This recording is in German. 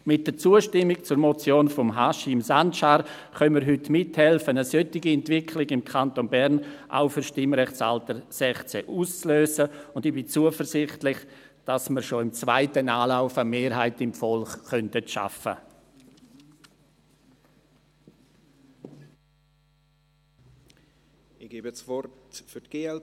Mit der Zustimmung zur Motion von Haşim Sancar können wir heute mithelfen, eine solche Entwicklung im Kanton Bern auch für das Stimmrechtsalter 16 auszulösen, und ich bin zuversichtlich, dass wir schon im zweiten Anlauf eine Mehrheit im Volk schaffen könnten.